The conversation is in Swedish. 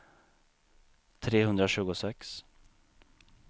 trehundratjugosex